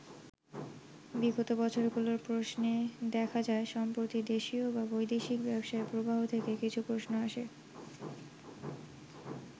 বিগত বছরগুলোর প্রশ্নে দেখা যায়, সাম্প্রতিক দেশীয় বা বৈদেশিক ব্যবসায় প্রবাহ থেকে কিছু প্রশ্ন আসে।